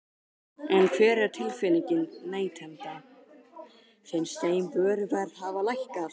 En hver er tilfinningin neytenda, finnst þeim vöruverð hafa lækkað?